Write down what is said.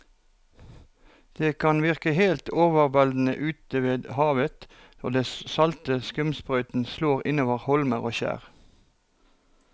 Det kan virke helt overveldende ute ved havet når den salte skumsprøyten slår innover holmer og skjær.